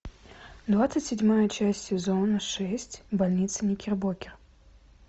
двадцать седьмая часть сезона шесть больница никербокер